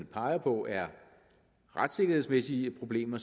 peger på er retssikkerhedsmæssige problemer